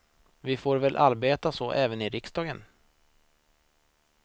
Vi får väl arbeta så även i riksdagen.